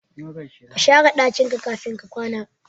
kashare dakin ka kafin ka kwata